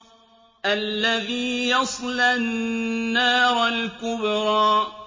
الَّذِي يَصْلَى النَّارَ الْكُبْرَىٰ